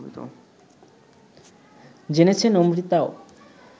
জেনেছেন অমৃতাও